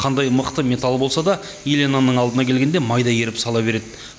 қандай мықты металл болса да еленаның алдына келгенде майдай еріп сала береді